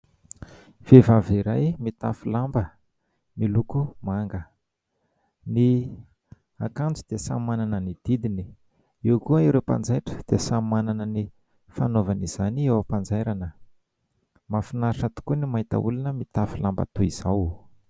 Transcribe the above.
Vehivavy iray mitafy lamba miloko manga, ny akanjo dia samy manana ny didiny, eo koa ireo mpanjaitra dia samy manana ny fanaovana izany eo am-panjairana, mahafinaritra tokoa ny mahita olona mitafy lamba toy izao.